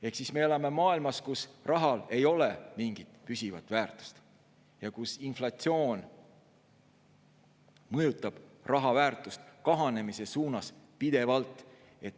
Ehk siis me elame maailmas, kus rahal ei ole mingit püsivat väärtust ja kus inflatsioon mõjutab raha väärtust kahanemise suunas pidevalt.